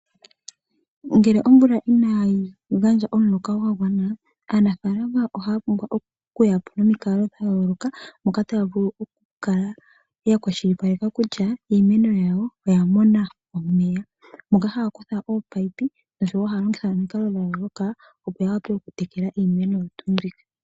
Ngele omvula inaayi gandja omuloka gwa gwana, aanafaalama ohaya pumbwa okuya po nomikalo dha yooloka moka taya vulu okukala ya kwashilipaleka kutya iimeno yawo oya mona omeya. Ohaya kutha ominino nosho wo haya longitha omikalo dha yooloka, opo ya wape okutekela iimeno oyo tuu mbika.